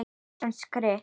Íslensk rit